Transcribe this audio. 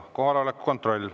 Kohaloleku kontroll.